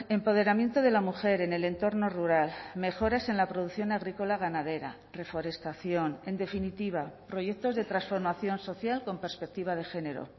empoderamiento de la mujer en el entorno rural mejoras en la producción agrícola ganadera reforestación en definitiva proyectos de transformación social con perspectiva de género